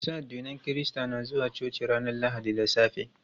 Masu addinin kirista na zuwa coci ranar lahadi da safe.